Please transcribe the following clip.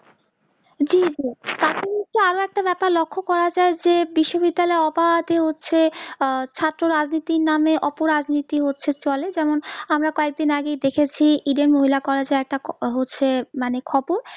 জি জি আরো একটা ব্যাপার লক্ষ করা যাই যে বিশ্ব বিদ্যালয়ে অবাধএ উঠছে আহ ছাত্র রাজনীতির নাম অপরাজনীতি হচ্ছে চলে যেমন আমরা কয়েক দিন আগে দেখেছি edenhela collage এ একটা হচ্ছে মানে খবর